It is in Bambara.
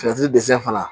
dɛsɛ fana